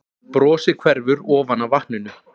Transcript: Brosið hverfur ofan af vatninu.